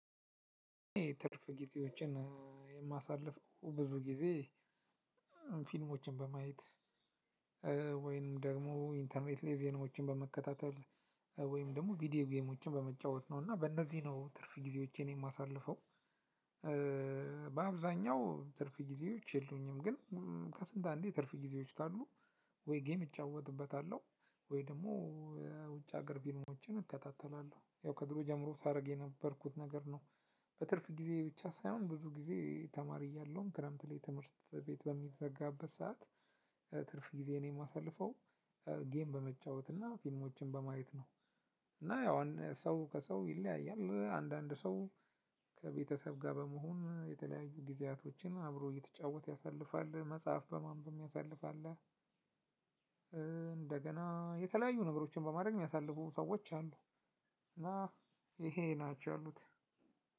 ትርፍ ጊዜዎችን የማሳልፈው ብዙ ጊዜ ፊልሞችን በማየት ወይም ደግሞ ኢንተርኔት ላይ ዜናዎችን በመከታተል ነው። ወይም ደግሞ ቪዲዮ ጌሞችን በመጫወት ነው። እና በእነዚህ ነው ትርፍ ጊዜዎቼን የማሳልፈው። በአብዛኛው ትርፍ ጊዜዎች የሉኝም። ግን ከስንት አንዴ ትርፍ ጊዜዎች ካሉ ወይ ጌም እጫወትበታለሁ ወይ ደግሞ የውጭ ሀገር ፊልሞችን እከታተላለሁ። ያው ከድሮ ጀምሮ ሳደርግ የነበርኩት ነገር ነው። በትርፍ ጊዜ ብቻ ሳይሆን ብዙ ጊዜ ተማሪ እያለሁም ክረምት ላይ ትምህርት ቤት በሚዘጋበት ሰዓት ትርፍ ጊዜዬን የማሳልፈው ጌም በመጫወት እና ፊልሞችን በማየት ነው። እና ያው ሰው ከሰው ይለያያል። አንዳንድ ሰው ከቤተሰብ ጋር በመሆን የተለያዩ ጊዜያቶችን አብሮ እየተጫወተ ያሳልፋል፣ መጽሐፍ በማንበብ የሚያሳልፍ አለ። እንደገና የተለያዩ ነገሮችን በማድረግ የሚያሳልፉ ሰዎች አሉ። እና ይሄ ናቸው ያሉት።